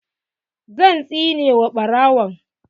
Zan tsine wa ɓarawon!